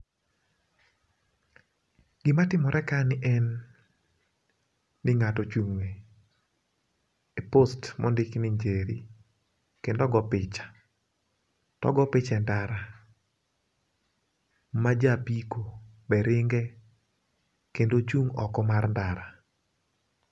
gima timore kani en ni ng'ato ochung' e post mondik ni Njeri kendo ogo picha. To ogo picha e ndara ma jo apiko be ringe kendo ochung' oko mar ndara.